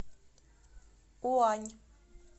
уань